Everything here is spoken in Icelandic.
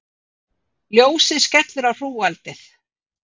Ljósið skellur á hrúgaldið.